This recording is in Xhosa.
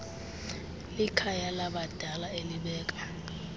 likhaya labadala elibeka